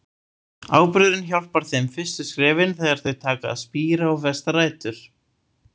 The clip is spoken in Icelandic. Áburðurinn hjálpar þeim fyrstu skrefin, þegar þau taka að spíra og festa rætur.